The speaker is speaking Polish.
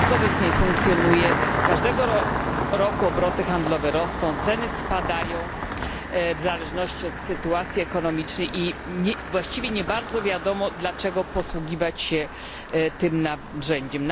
Rynek obecnie funkcjonuje, każdego roku obroty handlowe rosną, ceny spadają w zależności od sytuacji ekonomicznej i właściwie nie bardzo wiadomo, dlaczego posługiwać się tym narzędziem.